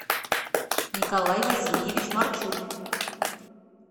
николай васильевич марчук